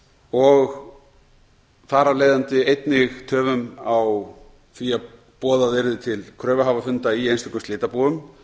og þar af leiðandi einnig töflum á því að boðað yrði til kröfuhafafunda í einstökum slitabúum